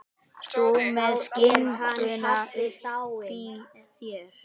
Þú með skinkuna uppí þér.